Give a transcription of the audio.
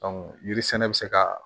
yiri sɛnɛ bɛ se ka